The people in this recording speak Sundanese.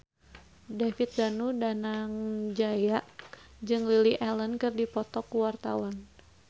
David Danu Danangjaya jeung Lily Allen keur dipoto ku wartawan